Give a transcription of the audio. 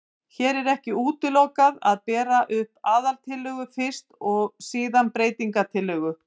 Hér er ekki útilokað að bera upp aðaltillögu fyrst og síðan breytingatillögu.